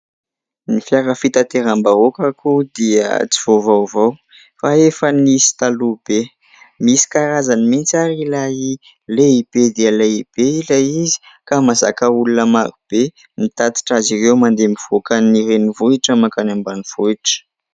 Ny fiara fitateram-bahoaka akory dia tsy vao vaovao fa efa nisy taloha be. Misy karazany mihitsy ary ilay lehibe dia lehibe ilay izy ka mahazaka olona marobe mitatitra azy ireo mandeha mivoakan'ny renivohitra mankany ambanivohitra.